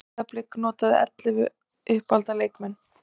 Breiðablik notaði ellefu uppalda leikmenn